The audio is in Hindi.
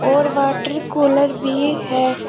और वाटर कूलर भी है।